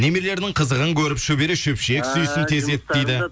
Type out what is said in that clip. немерелерінің қызығын көріп шөбере шөпшек сүйсін тезірек дейді